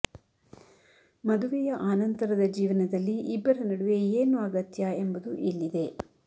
ಮದುವೆಯ ಆನಂತರದ ಜೀವನದಲ್ಲಿ ಇಬ್ಬರ ನಡುವೆ ಏನು ಅಗತ್ಯ ಎಂಬುದು ಇಲ್ಲಿದೆ